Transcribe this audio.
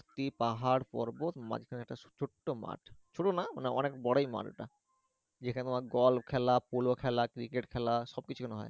ভর্তি পাহাড় পর্বত মাঝখানে একটা ছোট্ট মাঠ ছোট না মানে অনেক বড়ই মাঠ এটা যেখানে গলফ খেলা পোলো খেলা ক্রিকেট খেলা সব কিছু এখানে হয়।